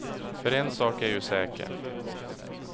För en sak är ju säker.